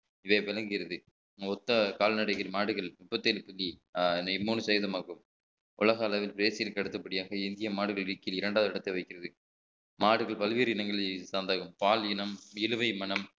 இதை விளங்குகிறது மொத்த கால்நடைகள் மாடுகள் முப்பத்தேழு புள்ளி அஹ் மூணு சதவீதமாகும் உலக அளவில் பிரேசில்க்கு அடுத்தபடியாக இந்திய மாடுகள் வீட்டில் இரண்டாவது இடத்தை வைக்கிறது மாடுகள் பல்வேறு இனங்களில் சாந்தகம் பாலினம் இழுவை மணம்